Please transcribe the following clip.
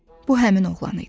Bu həmin oğlan idi.